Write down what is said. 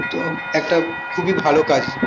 তো একটা খুবই ভালো কাজ